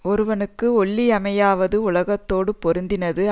ஒருவனுக்கு ஒள்ளிமையாவது உலகத்தோடு பொருந்தினது